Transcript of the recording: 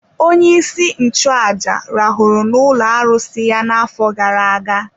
Onyeisi nchụaja rahụrụ n’ụlọ arụsị ya n’afọ gara aga.